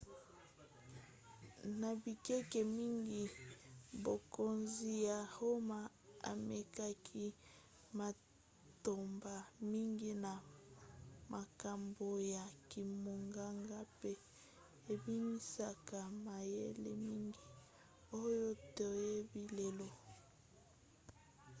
na bikeke mingi bokonzi ya roma ememaki matomba mingi na makambo ya kimonganga pe ebimisaki mayele mingi oyo toyebi lelo